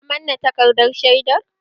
Ka manne takardar shaidar?